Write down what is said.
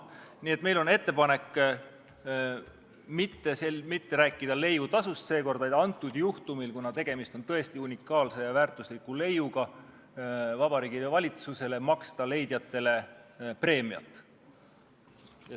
Nii et meil on ettepanek Vabariigi Valitsusele seekord mitte leiutasust rääkida, vaid antud juhtumil, kuna tegemist on tõesti unikaalse ja väärtusliku leiuga, maksta leidjatele preemiat.